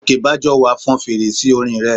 Gòkèbájọwà fọn fèrè sí orin rẹ̀